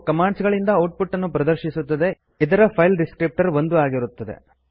ಇದು ಕಮಾಂಡ್ಸ್ ಗಳಿಂದ output ಅನ್ನು ಪ್ರದರ್ಶಿಸುತ್ತದೆಇದರ ಫೈಲ್ ಡಿಸ್ಕ್ರಿಪ್ಟರ್ 1 ಆಗಿರುತ್ತದೆ